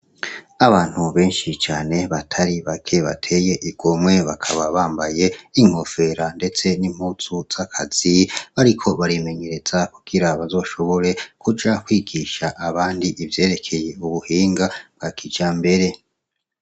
Abantu benshi cane batari bake bateye igomwe bakaba bambaye ingofero ndetse nimpuzu zakazi. Bariko barimenyereza kugira bazoshobore kuja kwigisha abandi ivyerekeye ubuhinga bwa kijambere